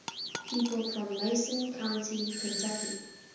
people from mason county kentucky